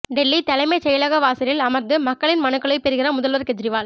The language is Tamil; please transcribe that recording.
டெல்லி தலைமைச் செயலக வாசலில் அமர்ந்து மக்களின் மனுக்களை பெறுகிறார் முதல்வர் கெஜ்ரிவால்